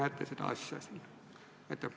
Kuidas te seda näete?